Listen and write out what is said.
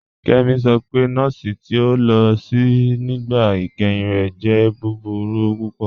Kemí sọ pé nọ̀ọ̀sì ti o lo sí nígbà ìkẹ́hìn rẹ̀ jẹ̀ búburú púpọ̀.